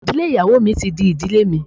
Ìdílé ìyàwó mi ti di ìdílé mi.